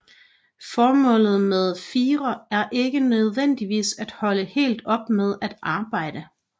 Formålet med FIRE er ikke nødvendigvis at holde helt op med at arbejde